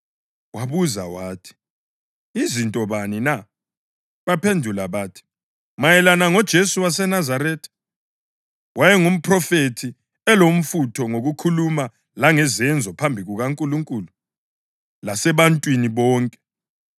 Wabuza wathi, “Yizinto bani na?” Baphendula bathi, “Mayelana ngoJesu waseNazaretha. Wayengumphrofethi; elomfutho ngokukhuluma langezenzo phambi kukaNkulunkulu lasebantwini bonke.